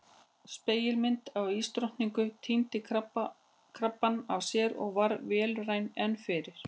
Spegilmyndin af ísdrottninguni týndi krabbana af sér og varð vélrænni en fyrr.